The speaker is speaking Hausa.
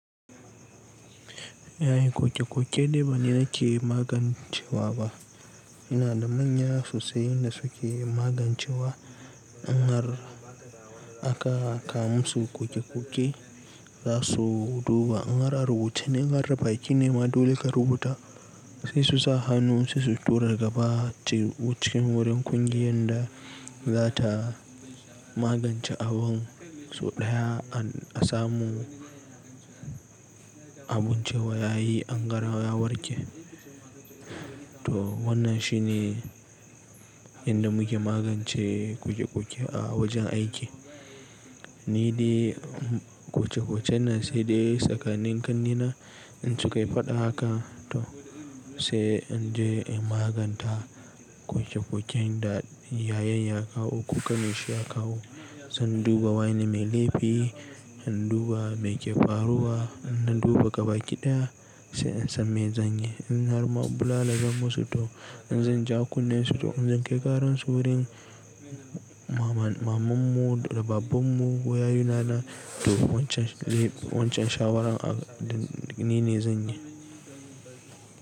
Yayi ƙoke-ƙoke dai bani nake magancewa ba. Ina da manya sosai wanda suke magancewa in har aka kawo mu su ƙoke-ƙoke za su duba. In har a rubuce ne, in har ba ki nema dole ka rubuta sai su sa hannu sai su tura gaba ce wucin wurin kungiyar da za ta magance abun. So ɗaya an samu abun cewa yayi an gara ya warke. To wannan shi ne yadda muke magance ƙoke-ƙoke a wajen aiki. Ni dai ƙoke-ƙoke nan sai dai tsakanin ƙannena in su kai faɗa haka to sai in je in maganta ƙoke-ƙoken da yayan ya kawo ko ƙaninsa ya kawo. Zan duba wane mai laifi, in duba mai ke faruwa, in na duba gaba kiɗaya sai in san me zan yi. In har ma bulala zan musu to in zan ja kunne su to in zan kai karar su wurin mamanmu da babababmu ko yayuna na to wancan, wancan shawarar a ni ne zan yi.